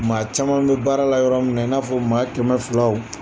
Maa caman bɛ baara la yɔrɔ min na n'a fɔ maa kɛmɛ filaw.